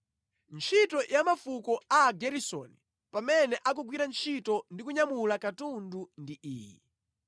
“Ntchito ya mafuko a Ageresoni pamene akugwira ntchito ndi kunyamula katundu ndi iyi: